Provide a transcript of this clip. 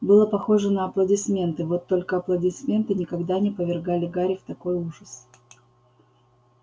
было похоже на аплодисменты вот только аплодисменты никогда не повергали гарри в такой ужас